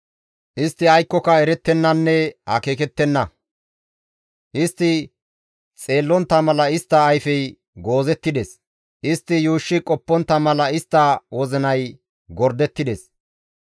Istti aykkoka erettennanne akeekettenna; istti xeellontta mala istta ayfey goozettides; istti yuushshi qoppontta mala istta wozinay gordettides.